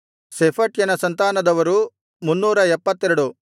ಶೆಫಟ್ಯನ ಸಂತಾನದವರು 372